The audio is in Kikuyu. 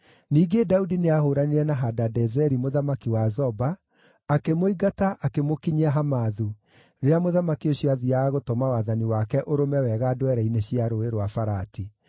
Ningĩ Daudi nĩahũũranire na Hadadezeri mũthamaki wa Zoba, akĩmũingata akĩmũkinyia Hamathu, rĩrĩa mũthamaki ũcio aathiiaga gũtũma wathani wake ũrũme wega ndwere-inĩ cia Rũũĩ rwa Farati.